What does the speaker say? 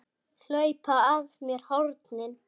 Hlaupa af mér hornin.